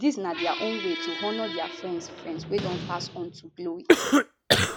dis na dia own way to honour dia friends friends wey don pass on to glory